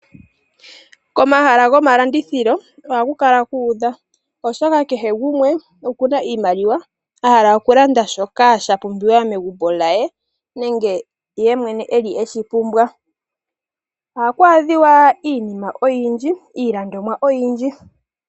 Komahala gomalandithilo oha ku kala kuudha, oshoka kehe gumwe ohakala ena iimaliwa ahala okulanda shoka sha pumbiwa megumbo lye nenge eshi pumbwa yemwene. Ohaku adhika iinima oyindji .